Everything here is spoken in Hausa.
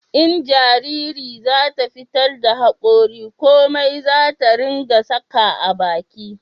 in jariri za ta fitar da hakori komai zata ringa saka a baki